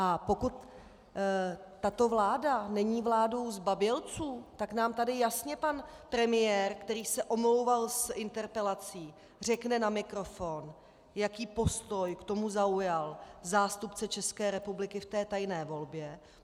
A pokud tato vláda není vládou zbabělců, tak nám tady jasně pan premiér, který se omlouval z interpelací, řekne na mikrofon, jaký postoj k tomu zaujal zástupce České republiky v té tajné volbě.